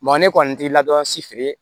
Mɔgɔ ne kɔni t'i ladon si feere ye